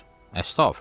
Xeyr, əstağfurullah!